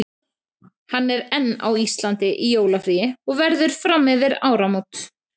Hann er enn á Íslandi í jólafríi og verður fram yfir áramót.